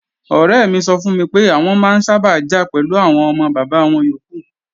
Ọ̀rẹ́ mi sọ fún mi pé, àwọn máa ń sábà jà pẹ̀lú àwọn ọmọ bàbá wọn yókù